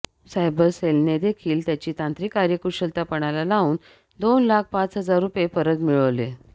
cyber सेलनेदेखील त्यांची तांत्रिक कार्यकुशलता पणाला लावून दोन लाख पाच हजार रुपये परत मिळवले